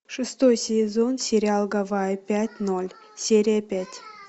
шестой сезон сериал гавайи пять ноль серия пять